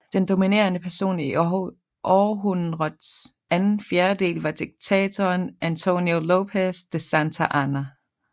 Den dominerede person i århundrets anden fjerdedel var diktatoren Antonio López de Santa Anna